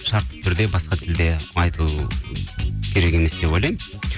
шартты түрде басқа тілде айту керек емес деп ойлаймын